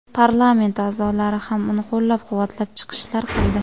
Parlament a’zolari ham uni qo‘llab-quvvatlab chiqishlar qildi.